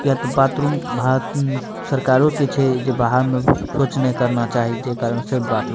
किया ते बाथरूम भारत सरकारों के छै जे बाहर में शौच ने करना चाही जे कारण से बाथरूम --